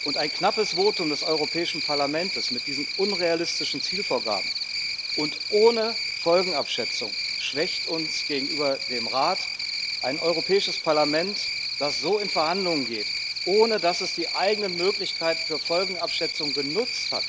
Und ein knappes Votum des Europäischen Parlaments mit diesen unrealistischen Zielvorgaben und ohne Folgenabschätzung schwächt uns gegenüber dem Rat. Ein Europäisches Parlament, das so in Verhandlungen geht, ohne dass es die eigenen Möglichkeiten für Folgenabschätzung genutzt hat,